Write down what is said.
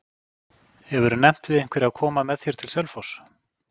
Hefurðu nefnt við einhverja að koma með þér til Selfoss?